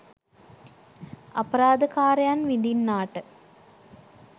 අපරාධ කාරයන් විඳින්නාට